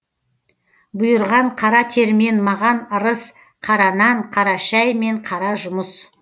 бұйырған қара термен маған ырыс қара нан қара шәй мен қара жұмыс